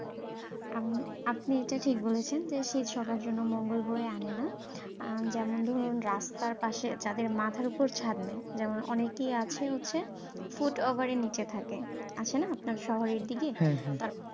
আমি আপনি এটা ঠিক বলেছেন যে শীত সবার জন্য মঙ্গল বয়ে আনে না। যেমন ধরুন রাস্তার পাশে যাদের মাথার উপর ছাদ নাই, যেমন অনেকই আছে হচ্ছে foot over এর নীচে থাকে। আছে না আপনার শহরের দিকে